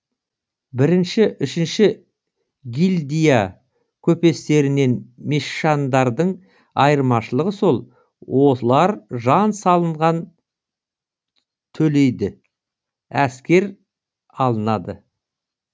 бірінші үшінші гильдия көпестерінен мешандардың айырмашылығы сол осылар жан салынған төлейді әскер алынады